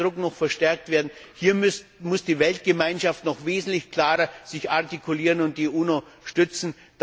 Hier muss der Druck noch verstärkt werden, hier muss sich die Weltgemeinschaft noch wesentlich klarer artikulieren und die UNO stützen.